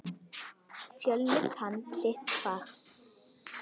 Fjölnir kann sitt fag.